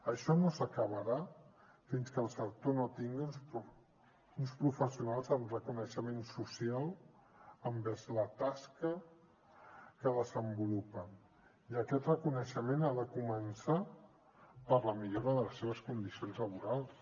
això no s’acabarà fins que el sector no tingui uns professionals amb reconeixement social envers la tasca que desenvolupen i aquest reconeixement ha de començar per la millora de les seves condicions laborals